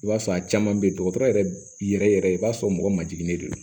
I b'a sɔrɔ a caman bɛ yen dɔgɔtɔrɔ yɛrɛ yɛrɛ i b'a sɔrɔ mɔgɔ ma jiginnen de don